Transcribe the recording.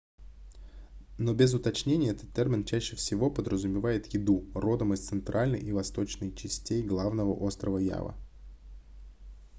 но без уточнений этот термин чаще всего подразумевает еду родом из центральной и восточной частей главного острова ява